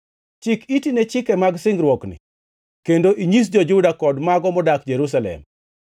“Chik iti ne chike mag singruokni kendo inyis jo-Juda kod mago modak Jerusalem.